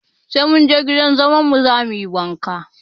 Sai mun je gidan zaman mu za mu yi wanka